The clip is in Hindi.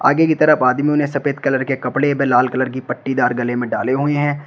आगे की तरफ आदमियों ने सफेद कलर के कपड़े व लाल कलर की पट्टीदार गले में डाले हुए हैं।